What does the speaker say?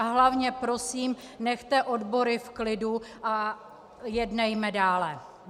A hlavně prosím nechte odbory v klidu a jednejme dále.